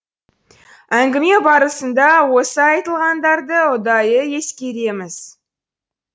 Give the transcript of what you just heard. әңгіме барысында осы айтылғандарды ұдайы ескереміз